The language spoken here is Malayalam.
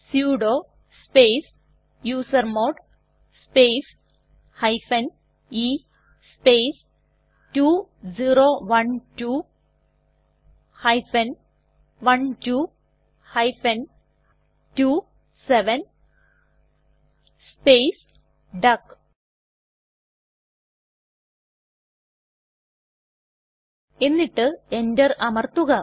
sudo space usermod space e space 2012 12 27 space duck എന്നിട്ട് enter അമർത്തുക